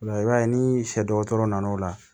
Ola i b'a ye ni sɛ dɔgɔtɔrɔ nana o la